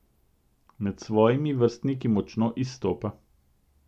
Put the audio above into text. Med svojimi vrstniki močno izstopa.